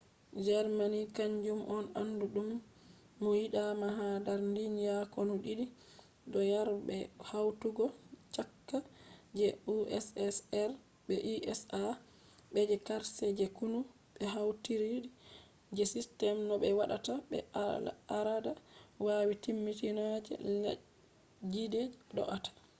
germany kanjum on andu dum mo yida ma ha dar duniya konu did do yara be hautugo chaka je ussr be usa. be je karshe je konu be hautidiri je system no be watta be al’ada yari timmitina je leddije do’ata